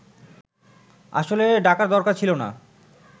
আসলে ডাকার দরকার ছিল না